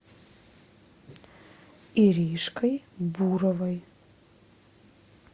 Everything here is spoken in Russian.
иришкой буровой